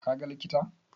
Ka ga likita?